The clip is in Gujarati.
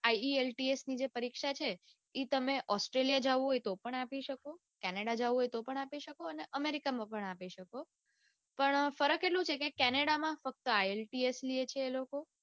આઈએલટીસ ની જે પરીક્ષા છે એ તમે australia જાઉં હોય તોપણ તમે આપી શકો canada જાઉં હોય તોપણ તમે આપી શકો અને america માં પણ આપી શકો પણ ફરક એટલો છે કે કેનેડા માં ફક્ત ielts લે છે એ લોકો.